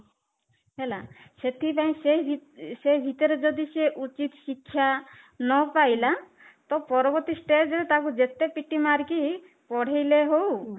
ହେଲା ସେଥିପାଇଁ ସେ ସେ ଭିତରେ ଯଦି ସେ ଉଚିତ ଶିକ୍ଷା ନ ପାଇଲା ତ ପରବର୍ତ୍ତୀ stage ରେ ତାକୁ ଯେତେ ପିଟି ମାରିକି ପଢ଼େଇଲେ ହଉ